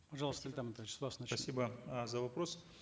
пожалуйста с вас начнем спасибо э за вопрос